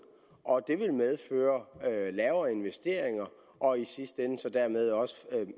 og det vil medføre lavere investeringer og i sidste ende dermed også